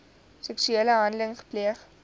seksuele handeling gepleeg